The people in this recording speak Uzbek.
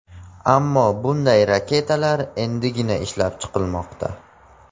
Ammo bunday raketalar endigina ishlab chiqilmoqda.